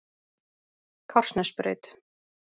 Kársnesbraut